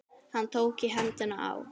Hann tók í hendina á